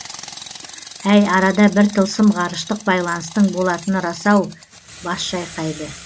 әй арада бір тылсым ғарыштық байланыстың болатыны рас ау бас шайқайды